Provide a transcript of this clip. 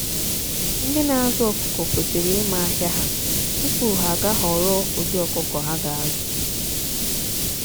ndị na azụ ọkụkọ kwesịrị ịma ahịa ha tupu ha ga ahọorọ ụdị ọkụkọ ha ga azụ.